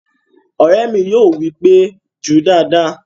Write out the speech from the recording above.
Ọ̀rẹ́ mi yóò wí pé "jú dáadáa!"